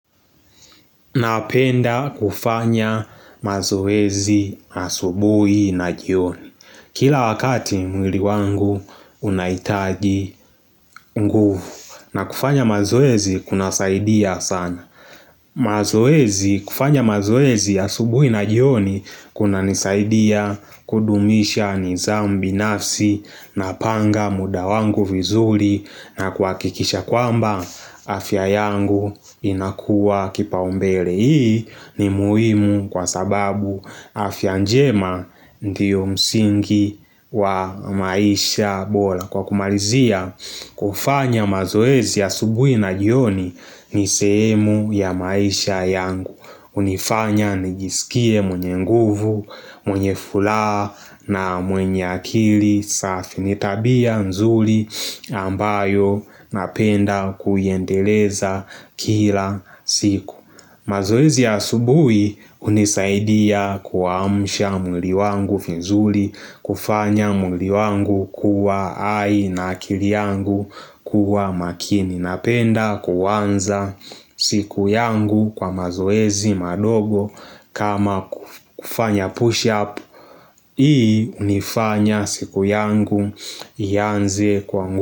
Napenda kufanya mazoezi asubuhi na jioni Kila wakati mwili wangu unahitaji nguvu na kufanya mazoezi kunasaidia sana kufanya mazoezi asubuhi na jioni kunanisaidia kudumisha nizambi nafsi Napanga muda wangu vizuri na kuhakikisha kwamba afya yangu inakuwa kipaumbele Hii ni muhimu kwa sababu afya njema ndiyo msingi wa maisha bora Kwa kumalizia kufanya mazoezi asubuhi na jioni ni sehemu ya maisha yangu hunifanya nijisikie mwenye nguvu, mwenye furaha na mwenye akili safi ni tabia nzuri ambayo napenda kuiendeleza kila siku mazoezi ya asubuhi hunisaidia kuamsha mwili wangu finzuli, kufanya mwili wangu kuwa hai na akili yangu kuwa makini na penda kuwanza siku yangu kwa mazoezi madogo kama kufanya pushup. Hii hunifanya siku yangu ianze kwangu.